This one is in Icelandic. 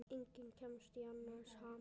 Enginn kemst í annars ham.